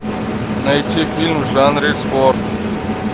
найти фильм в жанре спорт